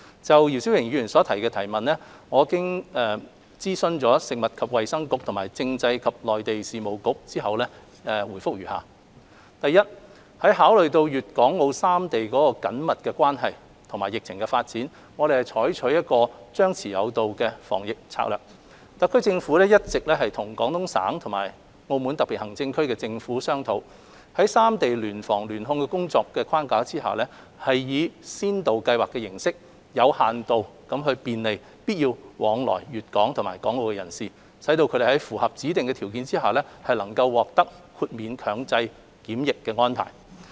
就姚思榮議員提出的質詢，我經諮詢食物及衞生局和政制及內地事務局後，答覆如下：一考慮到粵港澳三地的緊密關係和疫情發展，我們採取"張弛有度"防疫策略，特區政府一直與廣東省和澳門特別行政區政府商討，在三地聯防聯控的工作框架下，以先導計劃的形式，有限度便利必要往來粵港和港澳的人士，使他們在符合指定條件下能獲得豁免強制檢疫的安排。